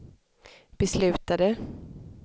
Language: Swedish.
beslutade